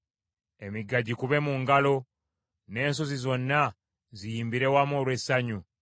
Emigga gikube mu ngalo n’ensozi zonna ziyimbire wamu olw’essanyu;